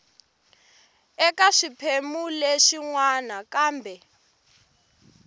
eka swiphemu swin wana kambe